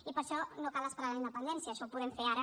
i per a això no cal esperar la independència això ho podem fer ara